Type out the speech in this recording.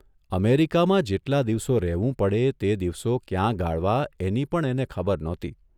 અમેરિકામાં જેટલા દિવસો રહેવું પડે તે દિવસો ક્યાં ગાળવા એની પણ એને ખબર નહોતી.